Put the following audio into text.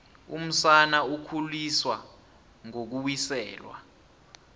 umsana ukhuliswa ngokuwiselwa